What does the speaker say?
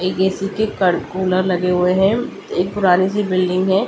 एक ए_सी के कड़ कुलर लगे हुए हैं एक पुरानी सी बिल्डिंग है।